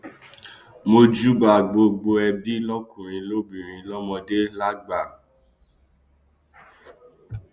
mojúbà gbogbo ẹbí lọkùnrin lóbìnrin lọmọdé lágbà